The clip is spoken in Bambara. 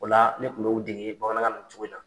O ne kun n'o dege bamanankan na nin cogo in na.